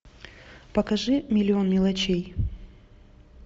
покажи миллион мелочей